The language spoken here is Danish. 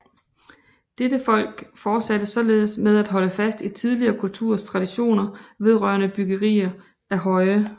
Dette folk fortsatte således med at holde fast i tidligere kulturers traditioner vedrørende byggeri af høje